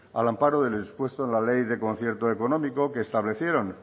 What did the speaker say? al amparo de lo expuesto en la ley de concierto económico que establecieron